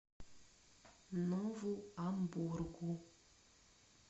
нову амбургу